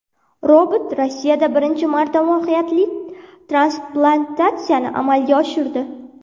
Robot Rossiyada birinchi marta muvaffaqiyatli transplantatsiyani amalga oshirdi.